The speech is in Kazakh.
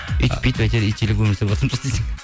үйтіп бүйтіп әйтеуір итшілеп өмір сүрватырмыз ғой десең